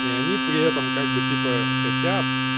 и они при этом как бы типа хотят